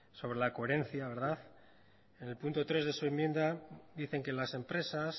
sobre la coherencia verdad en el punto tres de su enmienda dicen que las empresas